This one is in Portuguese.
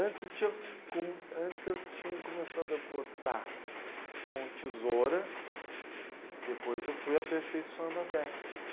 Antes eu tinha, como. Antes eu tinha começado a cortar com tesoura, depois eu fui aperfeiçoando a técnica.